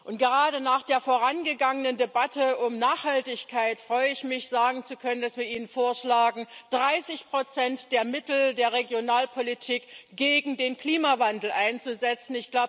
Und gerade nach der vorangegangenen Debatte über Nachhaltigkeit freue ich mich, sagen zu können, dass wir Ihnen vorschlagen, 30 der Mittel der Regionalpolitik gegen den Klimawandel einzusetzen.